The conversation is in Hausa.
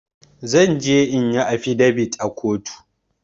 Zanje inyi afidabit a kotu